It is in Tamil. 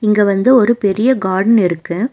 இங்க வந்து ஒரு பெரிய கார்டன் இருக்கு.